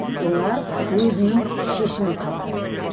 олар өзінің шешімін қабылдады